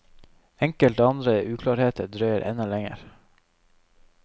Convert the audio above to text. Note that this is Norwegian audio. Enkelte andre uklarheter drøyer enda lenger.